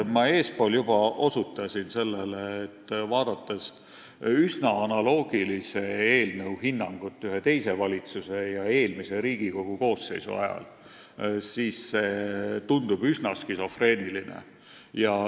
Ma eespool juba osutasin sellele, et kui vaadata hinnangut üsna analoogilisele eelnõule ühe teise valitsuse ja eelmise Riigikogu koosseisu ajal, siis see kõik tundub üsna skisofreeniline.